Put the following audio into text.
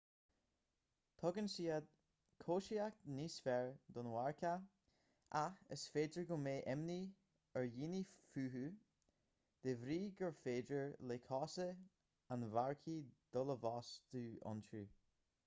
tugann siad cobhsaíocht níos fearr don mharcach ach is féidir go mbeadh imní ar dhaoine fúthu de bhrí gur féidir le cosa an mharcaigh dul i bhfostú iontu